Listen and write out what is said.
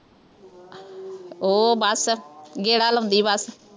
ਉਹ ਬੱਸ, ਗੇੜਾ ਲਾਉਂਦੀ ਬੱਸ,